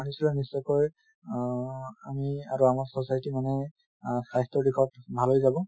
মানি চলিলে নিশ্চয়কৈ অহ আমি আৰু আমাৰ society মানে আহ স্বাস্থ্যৰ দিশত ভাল হৈ যাব